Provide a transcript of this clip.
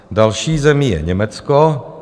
Další zemí je Německo.